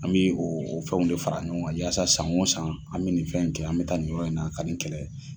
An bɛ o o fɛnw de fara ɲɔgɔn kan, yasa san o san an bɛ nin fɛn kɛ, an bɛ taa ni yɔrɔ in na ka nin kɛlɛ.